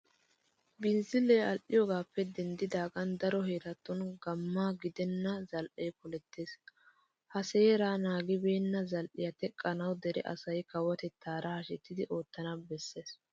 Binzzilee al"iyogaappe denddidaagan daro heeratun gamma gidenna zal"ee polettees. Ha seeraa naagibeenna zal"iya teqqanawu dere asay kawotettaara hashetidi oottana bessees.